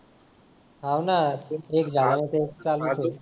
हो ना यार एक झाला की एक चालू च आहे